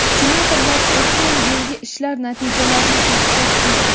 senatorlar o‘tgan yilgi ishlar natijalarini sarhisob qilgan.